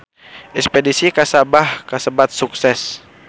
Espedisi ka Sabah kasebat sukses